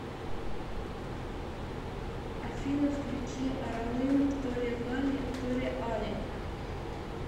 афина включи аралым торегали тореали